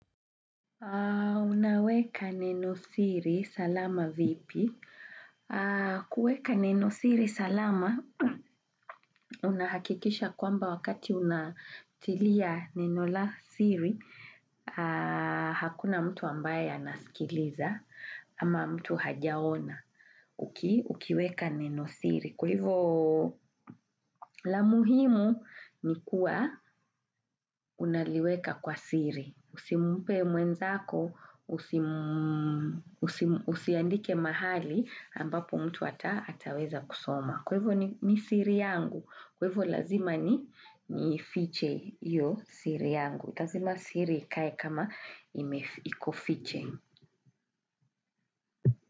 Unaweka neno siri salama vipi? Kuweka neno siri salama, unahakikisha kwamba wakati unatilia neno la siri, hakuna mtu ambaye anasikiliza ama mtu hajaona ukiweka neno siri. Kwa hivo la muhimu ni kuwa unaliweka kwa siri. Usimpe mwenzako, usiandike mahali ambapo mtu ataweza kusoma. Kwevo ni siri yangu. Kwa hivo lazima niifiche hiyo siri yangu. Lazima siri kae kama imeiko fiche.